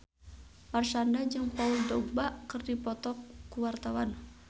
Marshanda jeung Paul Dogba keur dipoto ku wartawan